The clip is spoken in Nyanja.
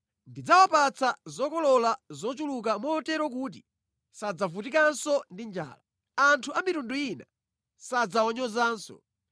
Ndidzawapatsa zokolola zochuluka motero kuti sadzavutikanso ndi njala. Anthu a mitundu ina sadzawanyozanso.